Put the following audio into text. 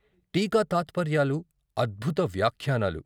టీకా తాత్పర్యాలు, అద్భుత వ్యాఖ్యానాలు.